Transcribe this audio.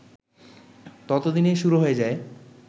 ততদিনে শুরু হয়ে যায়